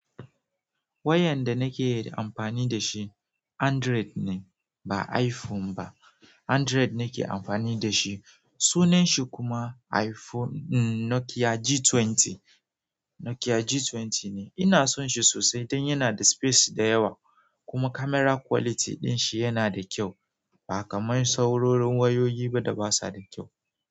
Wayar da nake amfani da shi Android ne ba iPhone ba. Android nake amfani da shi. Sunan shi kuma iPhone Nokia G20, Nokia G20 ne. Ina son shi sosai dan yana da space da yawa kuma kamera kwaliti din shi ya na da kyau ba kaman saurorin wayoyi ba da basa da kyau.